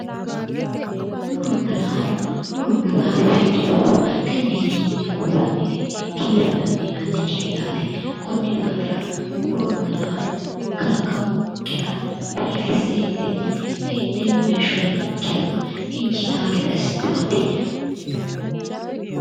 Muronna laalo muronna laalo afidhino horo tenneti yine dikulanite kiire danidiinannikite yaate Kon daafira muronna laalo kalaqamunkera biiffisentin heenemo heeshora nikera injiitawo gede asitano yaate